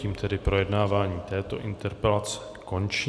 Tím tedy projednávání této interpelace končí.